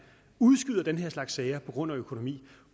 udskyder den her slags sager på grund af økonomi